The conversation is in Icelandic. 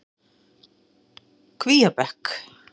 Kvíabekk